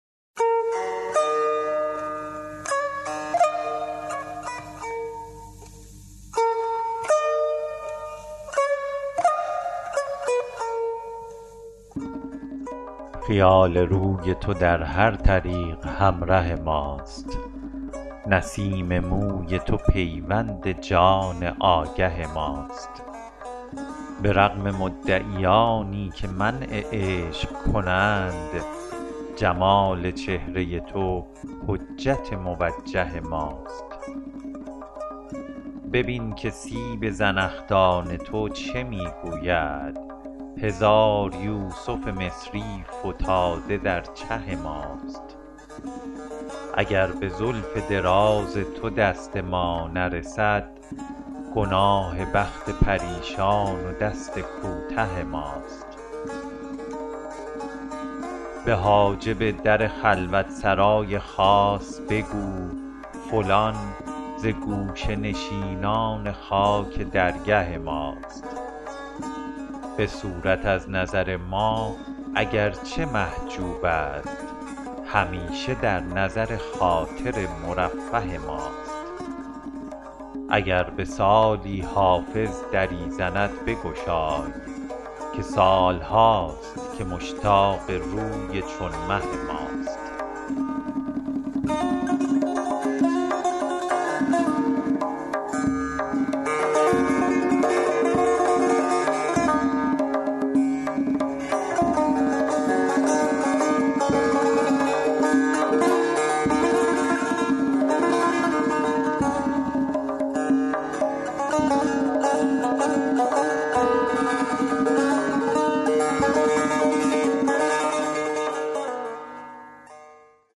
خیال روی تو در هر طریق همره ماست نسیم موی تو پیوند جان آگه ماست به رغم مدعیانی که منع عشق کنند جمال چهره تو حجت موجه ماست ببین که سیب زنخدان تو چه می گوید هزار یوسف مصری فتاده در چه ماست اگر به زلف دراز تو دست ما نرسد گناه بخت پریشان و دست کوته ماست به حاجب در خلوت سرای خاص بگو فلان ز گوشه نشینان خاک درگه ماست به صورت از نظر ما اگر چه محجوب است همیشه در نظر خاطر مرفه ماست اگر به سالی حافظ دری زند بگشای که سال هاست که مشتاق روی چون مه ماست